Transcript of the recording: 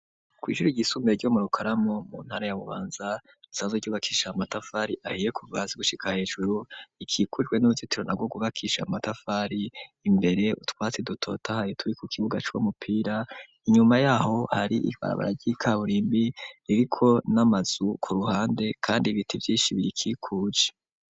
Kw'isuru igisumue ryo murukaramo mu ntara ya bubanza sazo ryubakisha amatafari ahiye kuvazi gushika hejuru ikikujwe n'urutituro na gwo gubakisha amatafari imbere utwatsi dutotahayi turi ku kibuga c'uwo mupira inyuma yaho hari ibarabara ry'i kaburimbi ririko n'amazu ku ruhande, kandi ibiti vyishibiri kikuje.